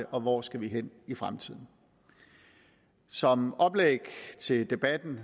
og hvor skal vi hen i fremtiden som oplæg til debatten